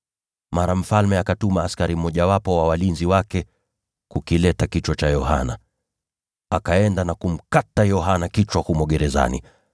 Mara mfalme akatuma askari mmojawapo wa walinzi wake kukileta kichwa cha Yohana. Akaenda na kumkata Yohana kichwa humo gerezani,